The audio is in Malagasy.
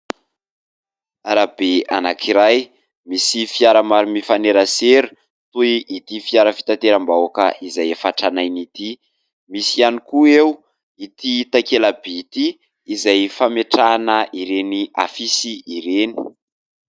Arabe anankiray, misy fiara maro mifanerasera toy ity fiara fitateram-bahoaka izay efa tranainy ity. Misy ihany koa eo ity takela-by ity izay fametrahana ireny afisy ireny.